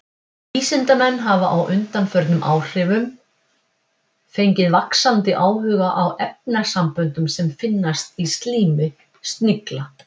Vísindamenn hafa á undanförnum áhrifum fengið vaxandi áhuga á efnasamböndum sem finnast í slími snigla.